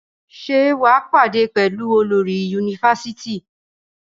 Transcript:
Ṣé wà á pàdé pẹ̀lú olórí yunifasiti?